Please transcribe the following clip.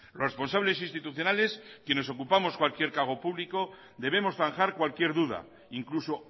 los responsables institucionales quienes ocupamos cualquier cargo público debemos zanjar cualquier duda incluso